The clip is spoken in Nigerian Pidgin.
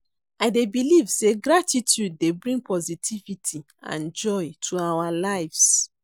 I dey believe say gratitude dey bring positivity and joy to our lives.